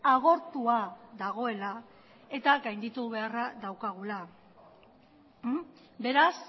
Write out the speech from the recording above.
agortua dagoela eta gainditu beharra daukagula beraz